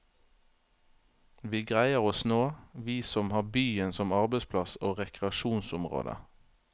Vi greier oss nå, vi som har byen som arbeidsplass og rekreasjonsområde.